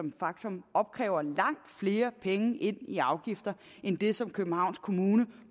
et faktum opkræver langt flere penge i afgifter end det som københavns kommune